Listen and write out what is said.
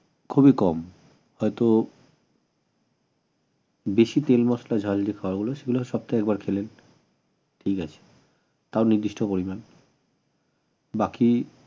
খুবই কম হয়তো বেশি তেল মসলা ঝাল যে খাবার গুলো সেগুলো সপ্তাহে একবার খেলেন ঠিক আছে তাও নির্দিষ্ট পরিমান বাকি